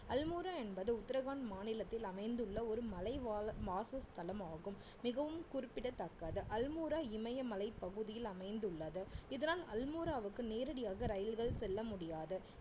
அல்மோரா என்பது உத்தரகாண்ட் மாநிலத்தில் அமைந்துள்ள ஒரு மலைவாழ் வாசஸ்தலமாகும் மிகவும் குறிப்பிடத்தக்கது அல்மோரா இமயமலைப் பகுதியில் அமைந்துள்ளது இதனால் அல்மோராவுக்கு நேரடியாக ரயில்கள் செல்ல முடியாது